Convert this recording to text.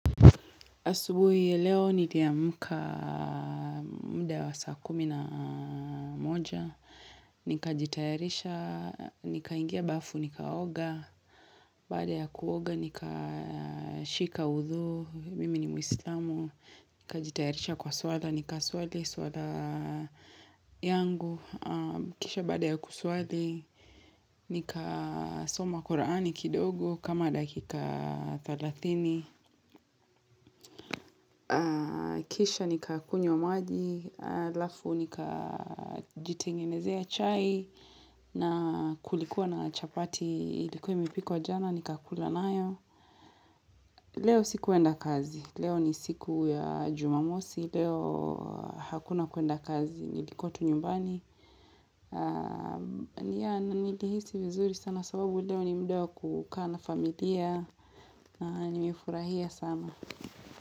Asubuhi, ya leo niliamka muda wa saa kumi na moja. Nikajitayarisha, nikaingia bafu, nikaoga. Baada ya kuoga, nikashika uzu, mimi ni muislamu. Nikajitayarisha kwa swala, nika swali, swala yangu. Kisha bada ya kuswathi. Nika soma korani kidogo, kama dakika thelathini. Kisha ni kakunywa maji halafu nikajitengenezea chai na kulikuwa na chapati Ilikuwa imepikwa jana ni kakula nayo Leo sikuenda kazi Leo ni siku ya jumamosi Leo hakuna kuenda kazi Nilikuwa tu nyumbani Nilihisi vizuri sana sababu leo ni muda kukaa na familia Nimefurahia sana.